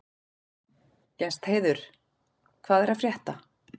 Gestheiður, hvað er að frétta?